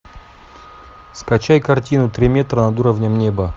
скачай картину три метра над уровнем неба